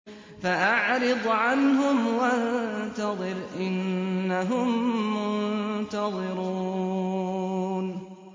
فَأَعْرِضْ عَنْهُمْ وَانتَظِرْ إِنَّهُم مُّنتَظِرُونَ